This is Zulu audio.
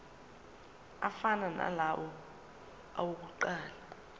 afana nalawo awokuqala